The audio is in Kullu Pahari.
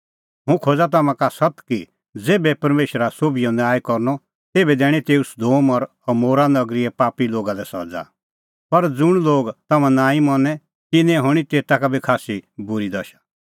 हुंह खोज़ा तम्हां का सत्त कि ज़ेभै परमेशरा सोभिओ न्याय करनअ तेभै दैणीं तेऊ सदोम और अमोरा नगरीए पापी लोगा लै सज़ा पर ज़ुंण लोग तम्हां नांईं मनें तिन्नें हणीं तेता का बी खास्सी बूरी दशा